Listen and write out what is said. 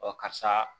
Ɔ karisa